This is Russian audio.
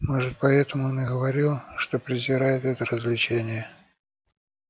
может поэтому он и говорил что презирает это развлечение